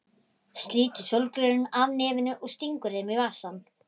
Slítur sólgleraugun af nefinu og stingur þeim í vasann.